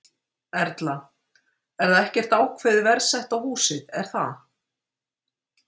Erla: Það er ekkert ákveðið verð sett á húsið, er það?